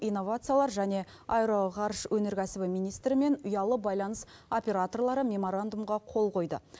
инновациялар және аэроғарыш өнеркәсібі министрі мен ұялы байланыс операторлары меморандумға қол қойды